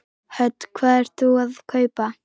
Hödd: Hvað ert þú að kaupa?